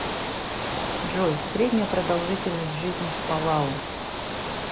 джой средняя продолжительность жизни в палау